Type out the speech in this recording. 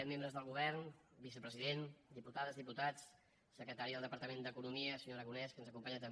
membres del govern vicepresident diputades diputats secretari del departament d’economia senyor aragonès que ens acompanya també